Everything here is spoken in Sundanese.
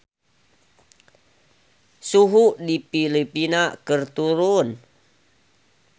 Suhu di Filipina keur turun